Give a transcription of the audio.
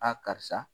karisa